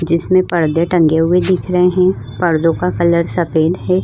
जिसमें पर्दे टंगे हुए दिख रहे हैं पर्दों का कलर सफेद है।